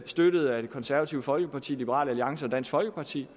støttet af det konservative folkeparti liberal alliance og dansk folkeparti